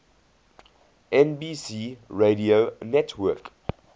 nbc radio network